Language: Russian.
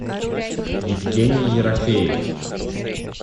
евгений ерофеев